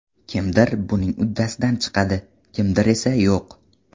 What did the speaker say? Kimdir buning uddasidan chiqadi, kimdir esa yo‘q.